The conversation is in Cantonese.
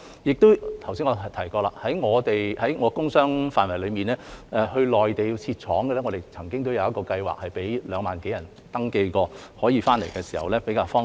我剛才亦提過，在我負責的工商範疇內，我們曾為在內地設廠的港人設立一個計劃，有2萬多人登記，他們可以在返港時比較方便。